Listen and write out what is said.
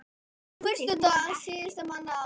Fyrsti dagur síðasta mánaðar ársins.